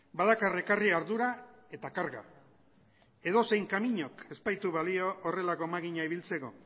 badakar ekarri ardura eta karga edozein kaminok ez baitu balio horrelako makina ibiltzeko